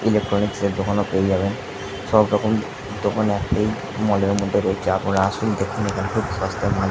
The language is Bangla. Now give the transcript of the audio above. ইলেকট্রনিক্স এর দোকান ও পেয়ে যাবেন সব রকম দোকান মল এর মধ্যে রয়েছে আপনারা আসুন দেখুন এখানে খুব সস্তায় মাল্ --